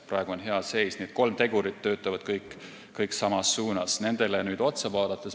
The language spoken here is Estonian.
Praegu on hea seis, aga kõigile neile kolmele tegurile tuleb otsa vaadata.